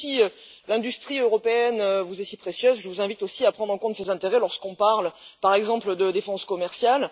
Et puis, si l'industrie européenne vous est si précieuse, je vous invite aussi à prendre en compte ses intérêts lorsqu'on parle, par exemple, de défense commerciale.